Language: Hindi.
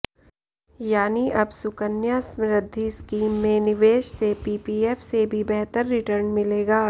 यानी अब सुकन्या समृद्धि स्कीम में निवेश से पीपीएफ से भी बेहतर रिटर्न मिलेगा